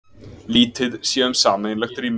Lítið sé um sameiginlegt rými